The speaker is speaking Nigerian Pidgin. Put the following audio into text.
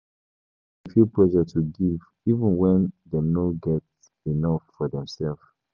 Pipo dey feel pressure to give, even wen dem no get enough for dem self.